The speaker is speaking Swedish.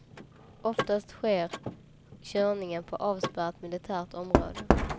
Oftast sker körningen på avspärrat militärt område.